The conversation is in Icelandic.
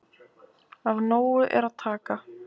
Af nógu er að taka